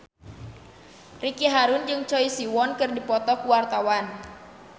Ricky Harun jeung Choi Siwon keur dipoto ku wartawan